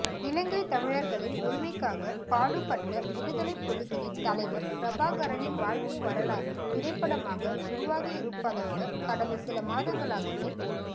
இலங்கை தமிழர்களின் உரிமைக்காக பாடுபட்ட விடுதலைப்புலிகளின் தலைவர் பிரபாகரனின் வாழ்க்கை வரலாறு திரைப்படமாக உருவாகவிருப்பதாக கடந்த சில மாதங்களாகவே